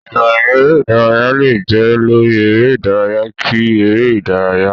Ìròyìn eré-ìdárayá lè jẹ́ lórí eré-ìdárayá kí eré-ìdárayá.